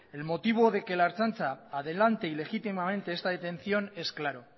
el motivo de que la ertzaintza adelante ilegítimamente esta detención es claro